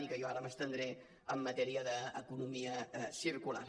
i que jo ara m’estendré en matèria d’economia circular